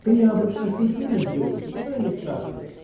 то я обычно шучу над девочками ну и они сразу